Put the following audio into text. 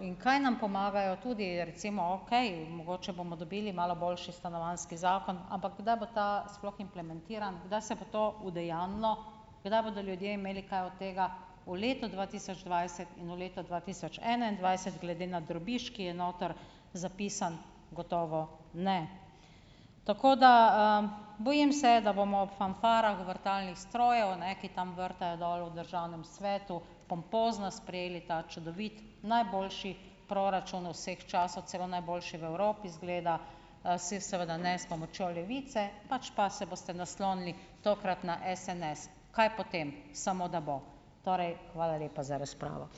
in kaj nam pomagajo tudi recimo, okej, mogoče bomo dobili malo boljši stanovanjski zakon, ampak kdaj bo ta sploh implementiran, kdaj se bo to udejanjilo, kdaj bodo ljudje imeli kaj od tega? V letu dva tisoč dvajset in v letu dva tisoč enaindvajset glede na drobiž, ki je noter zapisan, gotovo ne. Tako da, bojim se, da bomo ob fanfarah vrtalnih strojev, ne, ki tam vrtajo dol v državnem svetu, pompozno sprejeli ta čudoviti, najboljši proračun vseh časov, celo najboljši v Evropi, izgleda, saj seveda ne s pomočjo Levice, pač pa se boste naslonili tokrat na SNS. Kaj potem, samo da bo. Torej hvala lepa za razpravo.